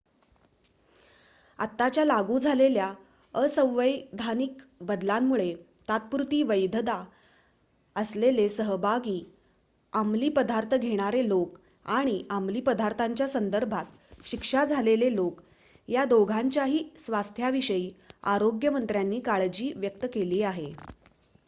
आताच्या लागू झालेल्या असंवैधानिक बदलांमुळे तात्पुरती वैधता असलेले सहभागी अमलीपदार्थ घेणारे लोक आणि अमलीपदार्थांच्या संदर्भात शिक्षा झालेले लोक या दोघांच्याही स्वास्थ्याविषयी आरोग्य मंत्र्यांनी काळजी व्यक्त केली आहे